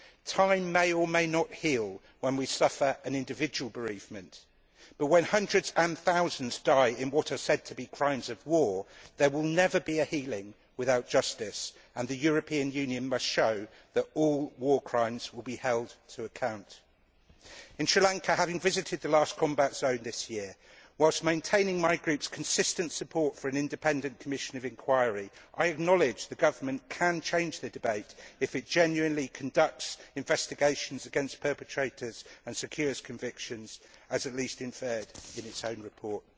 Time may or may not heal when we suffer an individual bereavement, but when hundreds and thousands die in what are said to be crimes of war, there will never be a healing without justice and the European Union must show that all war crimes will be held to account. In Sri Lanka, having visited the last combat zone this year whilst maintaining my Group's consistent support for an independent commission of inquiry, I acknowledged the Government can change the debate if it genuinely conducts investigations against perpetrators and secures convictions, as at least inferred in its own report.